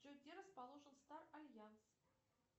джой где расположен стар альянс